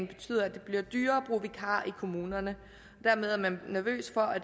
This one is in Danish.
betyder at det bliver dyrere at bruge vikarer i kommunerne dermed er man nervøs for at